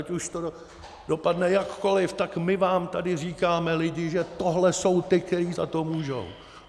Ať už to dopadne jakkoliv, tak my vám tady říkáme, lidi, že tohle jsou ti, kteří za to můžou.